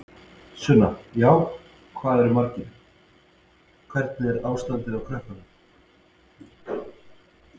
Sunna: Já, hvað eru margir, hvernig er ástandið á krökkunum?